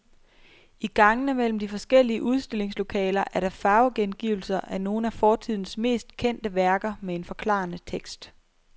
I gangene mellem de forskellige udstillingslokaler er der farvegengivelser af nogle af fortidens mest kendte værker med en forklarende tekst.